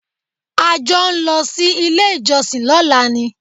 A jọ ń lọ sí ilé-ìjọsìn lọ́la ni.